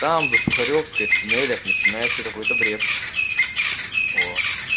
там за сухаревской в туннелях начинается какой-то бред